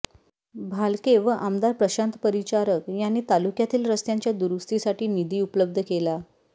भालके व आमदार प्रशांत परिचारक यांनी तालुक्यातील रस्त्यांच्या दुरुस्तीसाठी निधी उपलब्ध केला